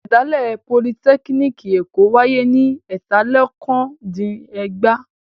Ìṣẹ̀dálẹ̀ Politẹ́kíníkì Èkó wáyé ní ẹ̀tàlélokòó-dín-ẹgbàá.